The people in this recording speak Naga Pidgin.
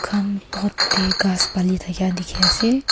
khan pot te pani dakha dekhi ase.